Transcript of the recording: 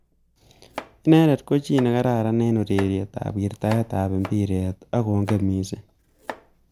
Inendet ko chi ne kararan eng ureriet ab wirtaet ab mpiret ak kongen missing.